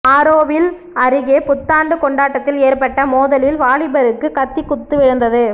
ஆரோவில் அருகே புத்தாண்டு கொண்டாட்டத்தில் ஏற்பட்ட மோதலில் வாலிபருக்கு கத்தி குத்து விழுந்தது